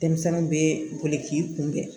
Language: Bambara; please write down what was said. Denmisɛnninw bɛ boli k'i kunbɛn